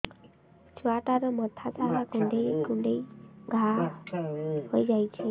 ଛୁଆଟାର ମଥା ସାରା କୁଂଡେଇ କୁଂଡେଇ ଘାଆ ହୋଇ ଯାଇଛି